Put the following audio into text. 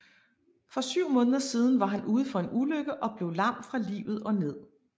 For syv måneder siden var han ude for en ulykke og blev lam fra livet og ned